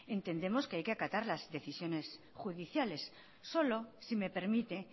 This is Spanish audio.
entendemos que hay que acatar las decisiones judiciales solo si me permite